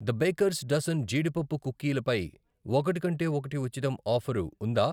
The baker's dozen జీడిపప్పు కుకీల పై 'ఒకటి కొంటే ఒకటి ఉచితం' ఆఫరు ఉందా?